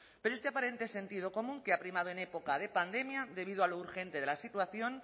pero este aparente sentido común que ha primado en época de pandemia debido a lo urgente de la situación